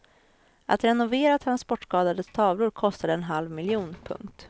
Att renovera transportskadade tavlor kostade en halv miljon. punkt